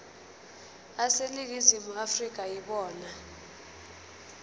aseningizimu afrika yibona